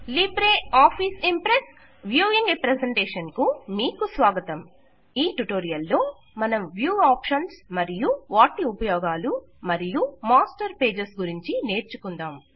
Libre office Impress viewing a presentation కు స్వాగతం ఈ ట్యుటోరియల్ లో మనం వ్యూ ఆప్షన్స్ మరియు వాటి ఉపయోగాలు మరియు మాస్టర్ పేజస్ గురించి నేర్చుకుందాం